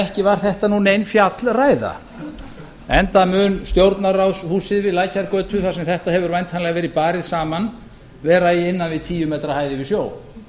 ekki var þetta nein fjallræða enda mun stjórnarráðshúsið við lækjargötu þar sem þetta hefur væntanlega verið barið saman vera í innan við tíu metra hæð yfir sjó